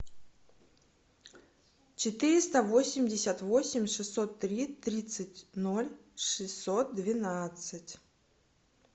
четыреста восемьдесят восемь шестьсот три тридцать ноль шестьсот двенадцать